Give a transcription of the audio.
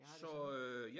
Jeg har det samme